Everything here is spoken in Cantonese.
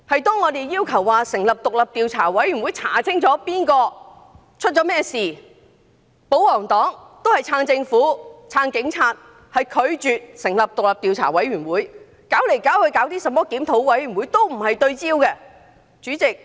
當我們要求成立獨立調查委員會，調查清楚責任誰負或發生了甚麼事，保皇黨卻仍然支持政府和警察，拒絕成立獨立調查委員會，只肯搞個甚麼檢討委員會，根本不對焦。